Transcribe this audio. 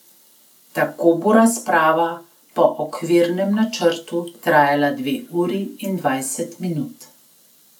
Tako bo razprava po okvirnem načrtu trajala dve uri in dvajset minut.